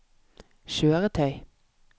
kjøretøy